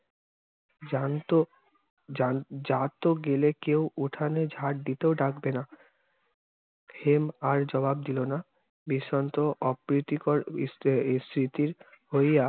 যানত যা~ জাত গেলে কেও উঠানে ঝাট দিতেও ডাকবেনা। হেম আর জবাব দিল না। অপ্রীতিকর স্মৃ~ স্মৃতির